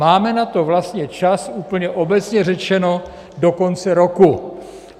Máme na to vlastně čas úplně obecně řečeno do konce roku.